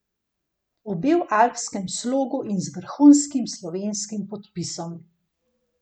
Obe v alpskem slogu in z vrhunskim slovenskim podpisom.